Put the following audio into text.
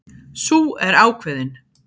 Sú er ákveðin!